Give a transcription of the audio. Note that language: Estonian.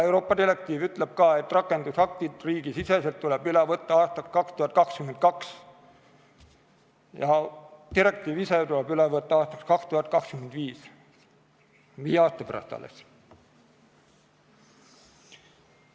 Euroopa direktiiv ütleb ka, et rakendusaktid tuleb riigisiseselt üle võtta aastaks 2022 ja direktiiv ise tuleb üle võtta aastaks 2025, viie aasta pärast alles.